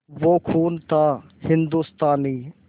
वो खून था हिंदुस्तानी